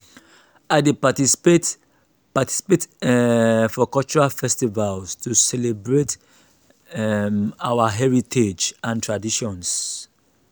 i dey participate participate um for cultural festivals to celebrate um our heritage and traditions.